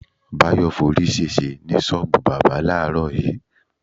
Báyò̩ forí s̩ès̩e ní s̩ó̩ò̩bù bábà láàárò̩ yìí.